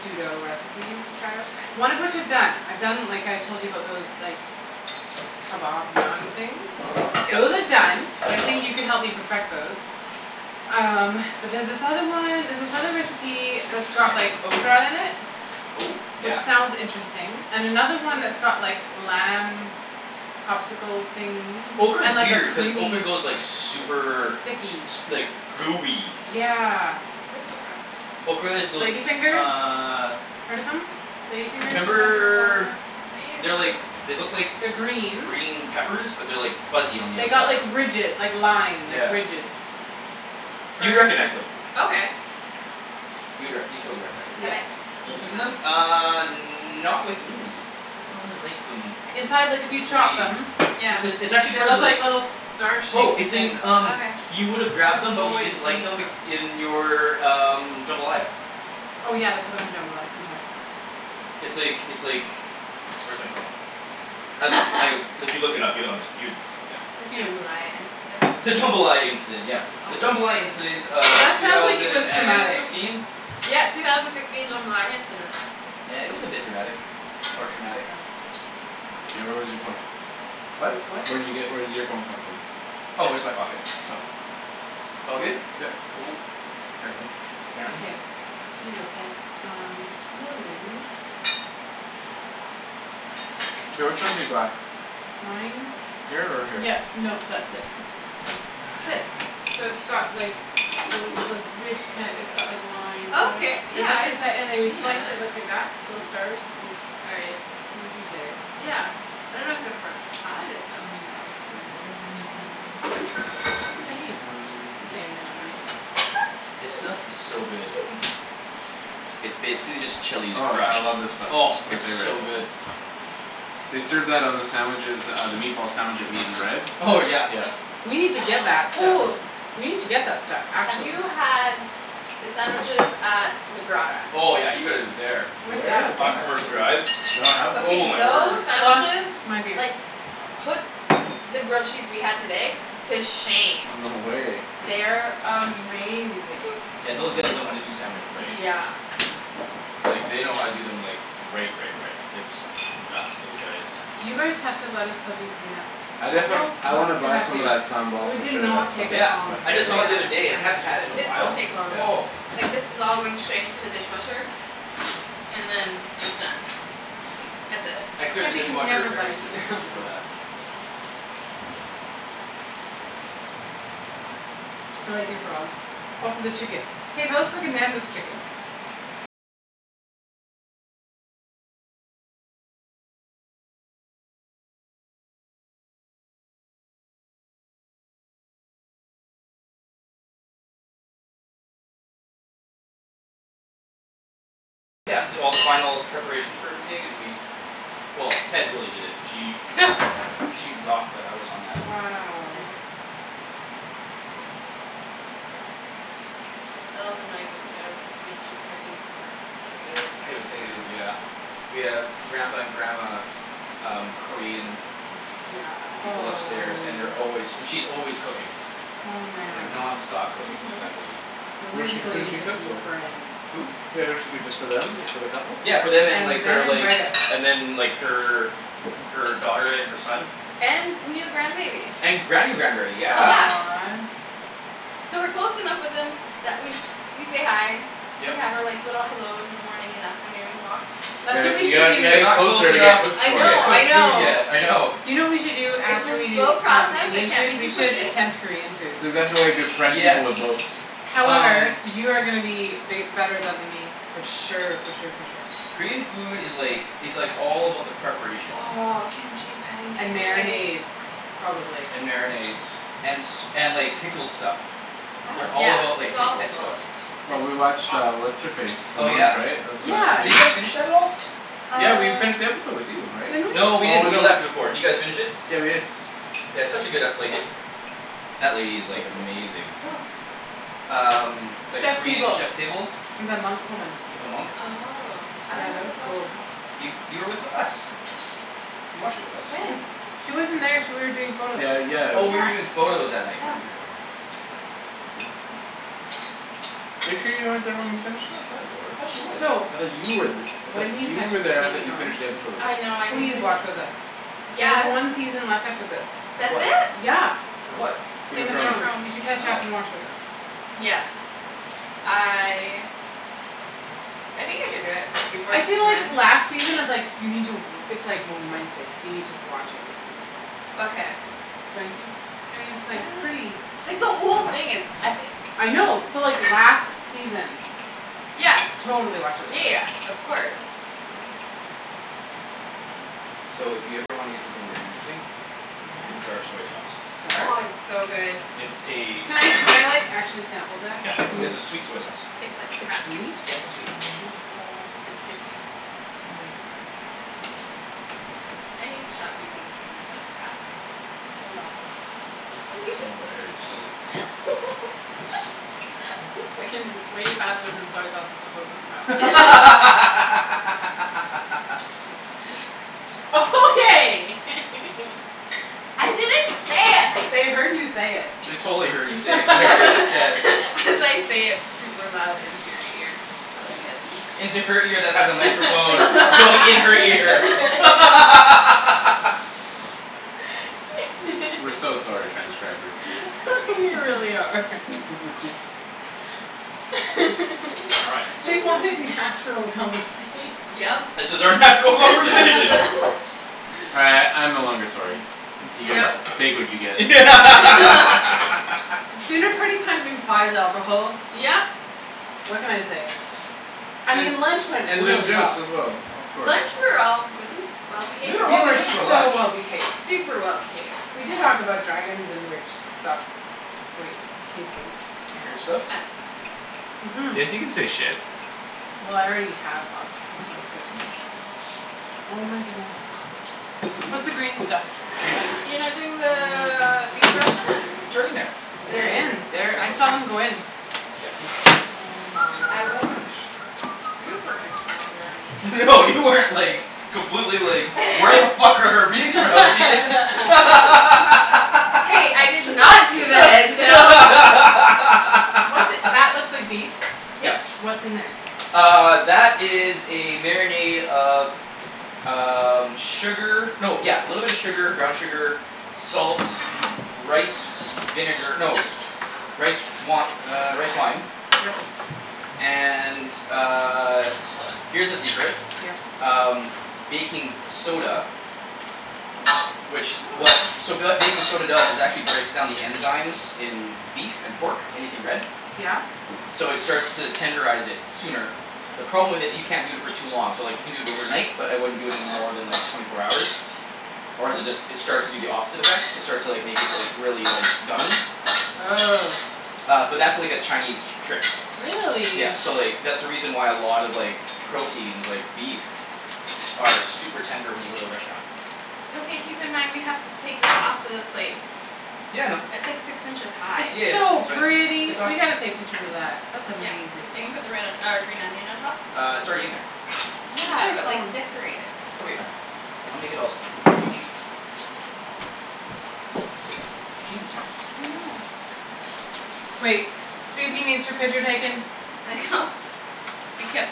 pseudo recipes to try out. One of which I've done. I've done like I told you about those, like, kebab naan things. Those are Yeah. done. I think you can help me perfect those. Um, but there's this other one, there's this other recipe that's got like ocra in it Oh! Which Yeah. sounds interesting. And another one that's got like lamb popsicle things Ocra is and like a weird, cuz creamy ocra goes like super Sticky S- like gooey. Yeah. What's ocra? Ocra is those, Lady fingers? uh Heard of them? Lady fingers Remember they're like, they like look like They're green. green peppers but they're like fuzzy on the They got outside. like ridge- like line, Yeah. ridges. You'd recognize them. Okay. You'd rec- you'd totally recognize them. Have Yeah. I eaten Eaten them? them? Uh, not with me cuz I don't really like them. Inside, like if you chop them Yeah. It's, it's actually They look like little star Oh, shaped it's things in um Okay. You With would've grabbed them but little you white didn't like seed sort them of i- in your um, jambalaya. Oh yeah, they put 'em in jambalaya sometimes. It's like, it's like, where's my phone? Um like, if you look it up you'll unders- you, yeah The Hmm. jambalaya incident. The jambalaya incident, yeah. The jambalaya incident of That two sounds like it was thousand and traumatic. sixteen? Yeah, two thousand sixteen jambalaya incident. Yeah it was a bit dramatic. Or traumatic. Ocra. Hey where was your phone? What? What? Where did you get, where did your phone come from? Oh, just my pocket. Oh. It's all good? Yeah. Cool. Apparently. Yeah. Okay, here you go Ped. Um, it's loading. K, which one's your glass? Mine? Here or here? Yeah, no that's it. Now This. I So need it's got some like the l- the ridge kinda, it's got like lines sort of. Okay, And yeah that's the I've seen inside, and when you slice it it it. looks like that. Little stars. Oops. All right. You, you get it. Yeah. I dunno if I've ever had it though. Mmm, that looks good. and this stuff. Ooh, This stuff is so good. excuse me. It's basically just chili Oh, I scratch. love this stuff. Oh, It's my it's favorite. so good. They served that on the sandwiches uh, the meatball sandwich at Meat and Bread. Oh yeah. Yeah. We need to get that stuff. Ooh. We need to get that stuff. Have Actually. you had the sandwiches at the Grotta? Oh yeah, you gotta go there. Where's Where that? is on that? Commercial Drive. Oh Okay my word. those I lost sandwiches my beer. like, put the grill cheese we had today to shame. No way. They're amazing. Yeah those guys know how to do sandwiches right. Yeah. Like, they know how to do them like, right right right. It's nuts. Those guys You guys have to go let us help you clean up. I definitely, No. I wanna You buy have some of to. that sambal We for did sure. That not stuff take is this my Yeah. long I the just saw it the favorite. other day. I hadn't had it in a sandwiches. This while. won't take long. Oh. Yeah. Like this is all going straight into the dishwasher, and then it's done. That's it. I clear Yeah the but you dishwasher never let very us clean up. specifically for that. Wow. Yeah. I left the knife upstairs. I mean she's cooking gr- good, good Good food. food, yeah. We have Grampa and Grandma um, Korean Yes. people Oh upstairs and they're s- always, and she's always cooking. oh Like man. nonstop cooking, Mhm. that lady. Those Who are does she, people who you does she need to cook for? befriend. Who? Yeah does she cook just for them, Yeah. just for the couple? Yeah for them and And like, then her like, invite us. and then like her, her daughter and her son. And new grandbaby. And Granny grand berry, yeah. Yeah. Aw. So we're close enough with them that we, we say hi. We Yep. have our like, little hellos in the morning and afternoon walks. You That's what got- we you should gotta, you gotta do. We're get not close closer to get enough to cooked I for get know, you. I cooked food know. yet, I know. Do you know what we should do It's after a we do slow um, process. I Indian can't food? be We too should pushy. attempt Korean food. That's exactly why you befriend people with Yes. boats. However, Um. you are gonna be bi- better than th- me. For sure for sure for sure. Korean food is like, it's like all about the preparation. Oh, kimchi And pancakes. marinades, probably. And marinades. And s- and like pickled stuff. They Yeah, all about Oh. like it's all pickled pickles. stuff. Well It's we watched uh, awesome. what's her face? Oh yeah. Yeah. Did you guys finish that at all? Yeah we Uh finished the episode with you, right? Didn't No we? we Oh didn't, we no. left before. Did you guys finish it? Yeah we did. Yeah it's such a good ep- like that lady is like, amazing. Who? Um, that Chef's Korean Table. Chef Table. And the monk woman. With the monk. Oh. I Yeah, dunno that if I was watched cool. that one. You, you were with us. You watched it with us. When? She wasn't there. She wa- you were doing photos. Yeah, Yeah. yeah. Oh you were doing photos that night. No. Right right right right right. I forgot about that. Are you sure you weren't there when we finished that? I thought I thought she you were. was. So. I thought you were th- I thought When you you catch were up there. with I Game of thought you finished Thrones the episode with us. I know. Please watch with us. I There's Yes! one season left after this. Of That's what? it? Yeah! Of what? Game Game of Game of of Thrones. Thrones. Thrones. You should catch up and Oh. watch with us. Yes. I I think I can do it before I the feel season like ends. last season is like, you need to w- it's like momentous. You need to watch it with some people. Okay. Don't you think? I mean it's I like, don't know. pretty Like the whole thing is epic. I know. So like last season Yes. Totally watch it with Yeah us. yes, of course. So if you ever wanna get something very interesting Get Yeah? dark soy sauce. Oh Dark? it's so good. It's a Can I, can I like actually sample that? Yeah. Can you It's a sweet soy sauce. It's like It's crack. sweet? Yeah, it's sweet. It's addicting. Oh my goodness. I need to stop using the term "It's like crack". Oh, no. I'm very Shh excited. That came way faster than soy sauce is supposed to come out. Okay! I didn't say it! They heard you say it. They totally heard you say it, whatever you just said. As I say it super loud into your ear. I like it. Into her ear that has a microphone going in her ear. We're so sorry, transcribers. We really are. All right. We want natural conversation. Yep. This is our natural Yeah. conversation. Uh I'm no longer sorry. You guys No. take what you get. Dinner party kind of implies alcohol. Yep! What can I say? I mean lunch went And loo really well. as well, of course. Lunch we were all really well We behaved. were We well were behaved for so lunch. well behaved. Super well behaved. We did talk about dragons and weird shi- stuff. Wait, can you say Weird stuff? Mhm. Yes you can say "shit". Well I already have lots of times, so good. I mean Oh my goodness. What's the green stuff? You're not doing the Mmm. beef? It's right in there. It They're is? in there. I saw them go in. Oh my I wasn't gosh. super concerned or anything. No you weren't like, completely like, "Where the fuck are our bean sprouts, Ian?" Hey, I did not do What's that looks like beef. Yep. Yeah. What's in there? Uh, that is a marinade of um, sugar. No yeah, little bit of sugar, brown sugar, salts, rice with s- vinegar. No. Rice wi- er, rice wine Yep. And uh, here's the secret. Yep. Um, baking soda. Which w- so Ooh. what baking soda does is actually breaks down the enzymes in beef and pork, anything red. Yeah. So it starts to tenderize it sooner. The problem with it, you can't do it for too long. So like you can do it overnight but I wouldn't it more than like twenty four hours, or is it d- it starts to do the opposite effect. It starts to like, make it like, really like, gummy. Ugh. Uh but that's like a Chinese t- trick. Really? Yeah. So like, that's the reason why a lot of like proteins, like beef, are super tender when you go to the restaurant. Okay keep in mind we have to take that off of the plate. Yeah I know. It's like six inches high. It's Yeah, so that's right. pretty! It's We awesome. gotta take pictures of that. That's Yeah. amazing. Are you gonna put the red, uh green onion on top? Uh, it's already in there. Where's Yeah, my but like phone? decorate it. Okay fine, I'll make it all spoof and chichi. I know. Wait, Suzy needs her picture taken. we kept